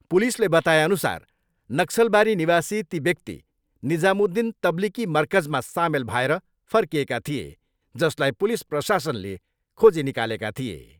पुलिसले बताएअनुसार नक्सलबारी निवासी ती व्यक्ति निजामुद्दिन तब्लिकी मरकजमा सामेल भएर फर्किएका थिए जसलाई पुलिस प्रशासनले खोजी निकालेका थिए।